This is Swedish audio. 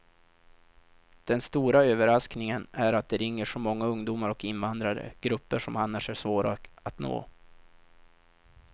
Den stora överraskningen är att det ringer så många ungdomar och invandrare, grupper som annars är svåra att nå.